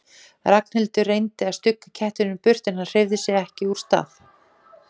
Ragnhildur reyndi að stugga kettinum burt en hann hreyfði sig ekki úr stað.